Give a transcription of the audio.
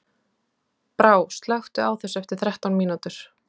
Brá, slökktu á þessu eftir þrettán mínútur.